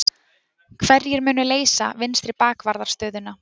Hverjir munu leysa vinstri bakvarðarstöðuna?